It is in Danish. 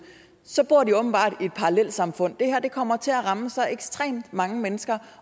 så bor de åbenbart i parallelsamfund det her kommer til at ramme så ekstremt mange mennesker